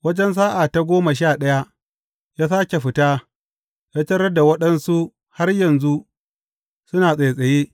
Wajen sa’a ta goma sha ɗaya, ya sāke fita, ya tarar da waɗansu har yanzu suna tsattsaye.